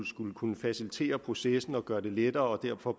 skulle kunne facilitere processen og gøre det lettere og derfor